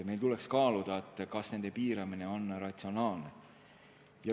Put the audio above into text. Meil tuleks kaaluda, kas nende kasutamise piiramine on ratsionaalne.